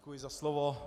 Děkuji za slovo.